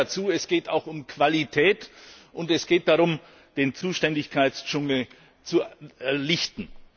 Ich füge hinzu Es geht auch um Qualität, und es geht darum, den Zuständigkeitendschungel zu lichten.